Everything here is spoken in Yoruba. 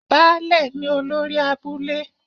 Baálẹ̀ ni olórí abúlé